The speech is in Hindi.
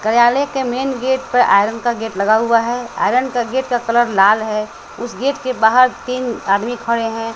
कर्यालय के मेन गेट पर आयरन का गेट लगा हुआ है आयरन का गेट का कलर लाल है उस गेट के बाहर तीन आदमी खड़े हैं।